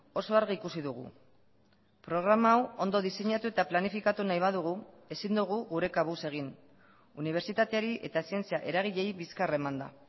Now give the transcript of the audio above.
oso argi ikusi dugu programa hau ondo diseinatu eta planifikatu nahi badugu ezin dugu gure kabuz egin unibertsitateari eta zientzia eragileei bizkar emanda